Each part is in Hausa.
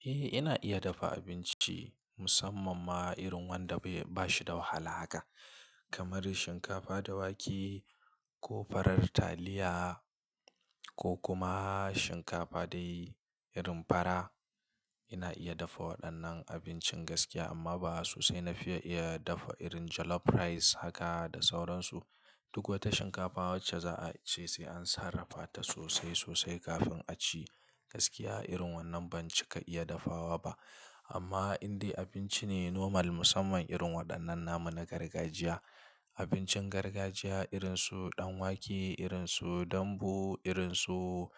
Eh, ina iya dafa abinci musamman ma irin wanda bai bashi da wahala haka, kamar shinkafa da wake ko farar taliya ko kuma shinkafa da irin fara. Ina iya dafa waɗannan abincin gaskiya amma ba sosai na fi iya dafa irin jollof rice haka da sauransu. Duk wata shinkafa wacce za a ci sai an sarrafata sosai sosai kafin a ci. Gaskiya irin wannan ban cika iya dafawa ba. Amma indai abinci ne normal musamman irin waɗannan nama na gargajiya. Abincin gargajiya irinsu ɗan wake, irinsu dambu, irinsu,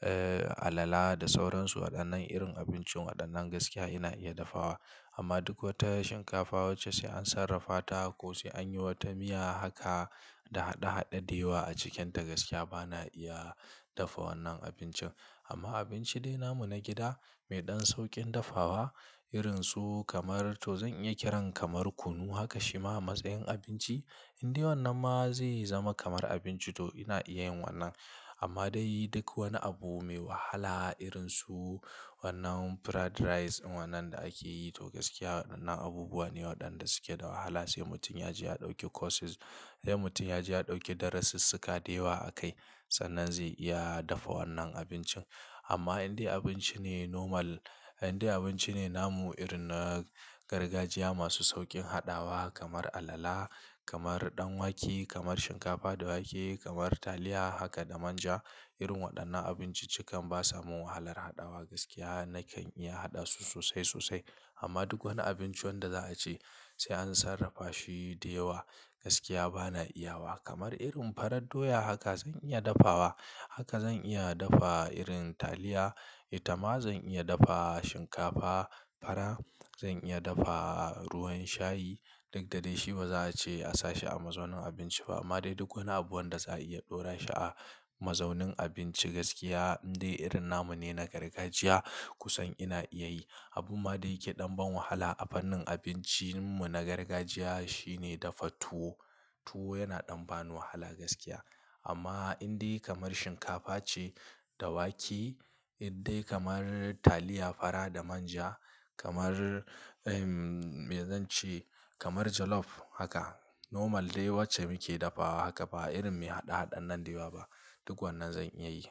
eh alala da sauransu. Waɗannan irin abinci waɗannan gaskiya ina iya dafawa. Amma duk wata shinkafa wacce sai an sarrafata ko sai an yi wata miya haka da haɗe haɗe dewa a cikinta gaskiya ba na iya dafa wannan abincin. Amma abinci dai namu na gida mai ɗan sauƙin dafawa irinsu kamar to zan iya kiran kamar kunu haka shima a matsayin abinci indai wannan ma zai zama kamar abinci to ina iya yin wannan. Amma dai duk wani abu mai wahala irinsu wannan fried rice wannan da ake yi to gaskiya waɗannan abubuwa ne waɗanda suke da wahala sai mutum ya je ya ɗauki courses. Sai mutun ya je ya ɗauki darasissuka dewa a kai sannan zai iya dafa wannan abincin. Amma indai abinci ne normal, indai abinci ne namu irin na gargajiya masu sauƙin haɗawa kamar alala, kamar ɗan wake, kamar shinkafa da wake, kamar taliya haka da manja. Irin waɗannan abinci cikan ba samu wahalar haɗawa gaskiya nakan iya haɗa su sosai sosai. Amma duk wani abinci wanda za a ci sai an sarrafa shi dewa gaskiya ba na iya wa. Kamar irin farar doya haka zan iya dafawa. Haka zan iya dafa irin taliya, ita ma zan iya dafa shinkafa fara, zan iya dafa ruwan shayi. Duk da dai shi ba za a ce a sashi a mazaunin abinci ba. Amma dai duk wani abu wanda za a iya ɗora shi a mazaunin abinci gaskiya indai irin namu ne na gargajiya kusan ina iya yi. Abun ma da yake ɗan ban wahala a fannin abincinmu na gargajiya shine dafa tuwo. Tuwo yana ɗan ba ni wahala gaskiya. Amma indai kamar shinkafa ce da wake, indai kamar taliya fara da manja, kamar, eh me zan ce, kamar jollof haka normal dai wacce muke dafawa haka ba irin mai haɗe haɗe nan dewa ba duk wannan zan iya yi.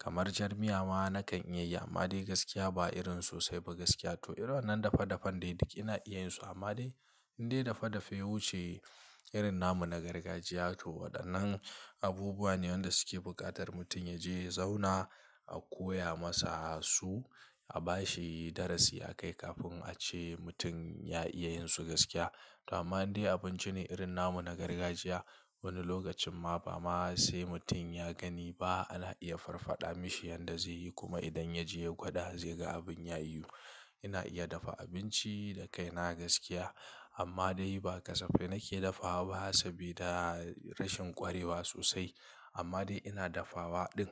Kamar jar miya ma na kan iya yi amma dai gaskiya ba irin sosai ba gaskiya to irin wannan dafa dafan dai duk ina iyansu amma dai indai dafa dafe wuce irin namu na gargajiya to waɗannan abubuwa ne wanda suke buƙatar mutum ya je ya zauna a koya masa su, a bashi darasi a kai kafin a ce mutum ya iya yin su gaskiya. To amma indai abinci ne irin namu na gargajiya wani lokacin ma ba ma sai mutum ya gani ba ana iya farfaɗa mishi yanda zai yi kuma idan ya je ya gwada zai ga abin ya iyi. Ina iya dafa abinci da kai na gaskiya amma dai ba kasafai nake dafawa ba sabida rashin ƙwarewa sosai. Amma dai ina dafawa ɗin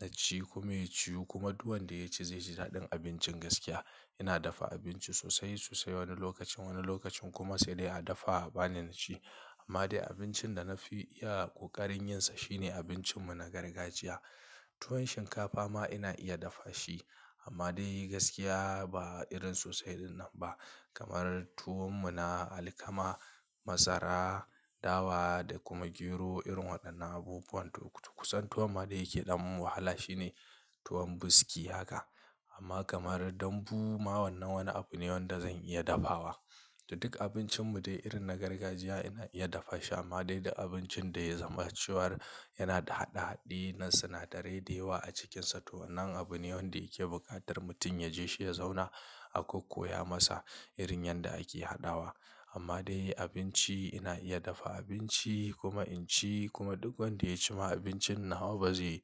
naci kuma ya ciyo kuma duk wanda ya ci zai ji daɗin abincin gaskiya. Ina dafa abinci sosai sosai wani lokacin, wani lokacin kuma sai dai a dafa bana ci. Amma dai abincin da na fi iya ƙoƙarin yin sa shine abincin mu na gargajiya. Tuwon shinkafa ma ina iya dafa shi amma dai gaskiya ba irin sosai irin nan ba. Kamar tuwon mu na alkama, masara, dawa da kuma gero irin waɗannan abubuwan to kusan tuwon ma da yake ɗan wahala shine tuwon buski haka. Amma kamar dambu ma wannan wani abu ne wanda zan iya dafawa. To duk abincin mu dai irin na gargajiya ina iya dafa shi amma dai da abincin da ya zama ciwar yana da haɗe haɗe na sinadarai dewa a cikinsa to wannan abu ne wanda yake buƙatar mutum ya je shi ya zauna a kokuya masa irin yanda ake haɗawa. Amma dai abinci ina iya dafa abinci kuma in ci kuma duk wanda ya ci ma abincin nawa ba zai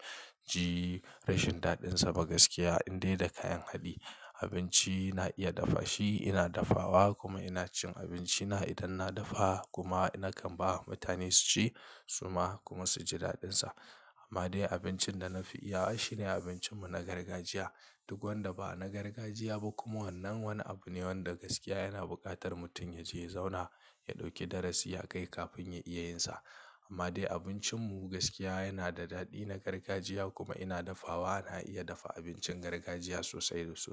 ji rashin daɗinsa ba gaskiya indai da kayan haɗi. Abinci ina iya dafa shi ina dafawa kuma ina cin abinci na idan na dafa kuma ina kan ba wa mutane su ci suma kuma su ji daɗinsa. Amma dai abincin da na fi iya shi ne abincin mu na gargajiya. Duk wanda ba na gargajiya ba kuma wannan wani abu ne wanda gaskiya yana buƙatar mutum ya je ya zauna, ya ɗauki darasi ya kai kafin ya iya yin sa. Amma dai abincin mu gaskiya yana da daɗi na gargajiya kuma ina dafawa. Ana iya dafa abincin gargajiya sosai sosai.